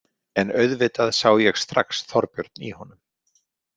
En auðvitað sá ég strax Þorbjörn í honum.